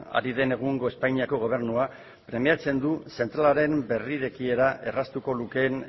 ari den egungo espainiako gobernuak du zentralaren berrirekiera erraztuko lukeen